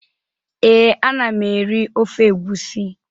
Ee, ana m eri ofe egwusi.